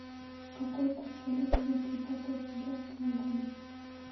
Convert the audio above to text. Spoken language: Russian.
какой курс валюты будет тридцатого октября этого года